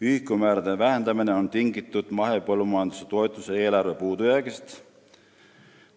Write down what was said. Ühikumäärade vähendamine on tingitud mahepõllumajanduse toetuste eelarve puudujäägist.